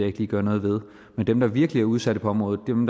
ikke lige gøre noget ved men dem der virkelig er udsatte på området dem